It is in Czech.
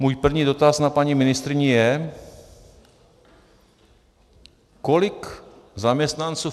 Můj první dotaz na paní ministryni je, kolik zaměstnanců